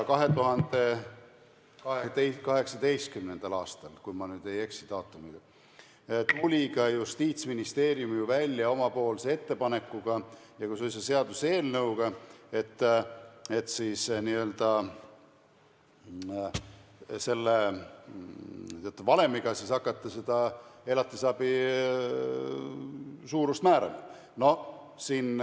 2018. aastal – kui ma nüüd ei eksi daatumiga – tuli ka Justiitsministeerium välja oma ettepanekuga ja suisa seaduseelnõuga, et hakata teatud valemiga elatisabi suurust määrama.